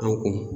An kun